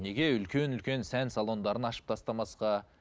неге үлкен үлкен сән салондарын ашып тастамасқа